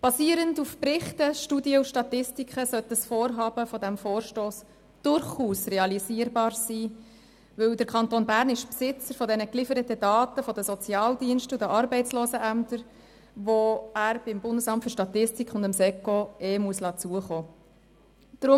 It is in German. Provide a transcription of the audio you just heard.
Basierend auf Berichten, Studien und Statistiken sollte das Vorhaben dieses Vorstosses durchaus realisierbar sein, denn der Kanton Bern ist Besitzer der von den Sozialdiensten und den Arbeitslosenämtern gelieferten Daten und muss diese dem Bundesamt für Statistik (BFS) und dem Staatssekretariat für Wirtschaft (SECO) ohnehin zukommen lassen.